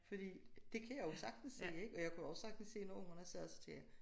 Fordi det kan jeg jo sagtens se ik og jeg kunne også sagtens se når ungerne sagde det så tænkte jeg